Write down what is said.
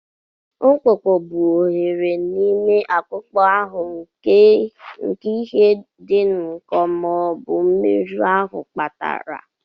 Mkpụkpụ bụ oghere n'ime akpụkpọ ahụ nke ihe dị nkọ ma ọ bụ mmerụ ahụ kpatara.